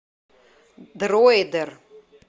дроидер